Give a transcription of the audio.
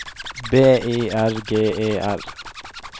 B I R G E R